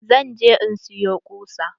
Zan je in siyo ƙusa.